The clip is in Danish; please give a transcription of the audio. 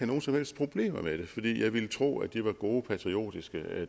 nogen som helst problemer med det fordi jeg ville tro at de var gode patriotiske